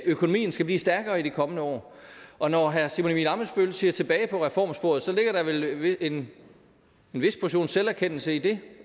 økonomien skal blive stærkere i de kommende år og når herre simon emil ammitzbøll bille ser tilbage på reformsporet ligger der vel en vis portion selverkendelse i det